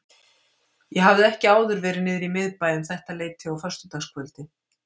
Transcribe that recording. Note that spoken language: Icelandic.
Ég hafði ekki áður verið niðri í miðbæ um þetta leyti á föstudagskvöldi.